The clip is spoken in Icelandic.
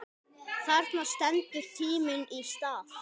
Þarna stendur tíminn í stað.